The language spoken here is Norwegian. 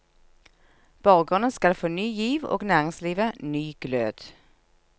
Borgerne skal få ny giv og næringslivet ny glød.